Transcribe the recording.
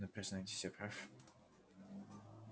ну признавайтесь я прав